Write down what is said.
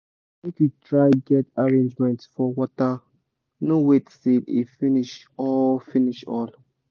make u try get arrangement for water no wait till e finish all finish all